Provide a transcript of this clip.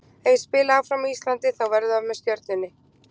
Ef ég spila áfram á Íslandi þá verður það með Stjörnunni.